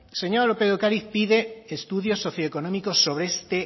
señora lópez de ocariz pide estudios socioeconómicos sobre este